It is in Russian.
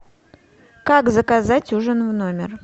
как заказать ужин в номер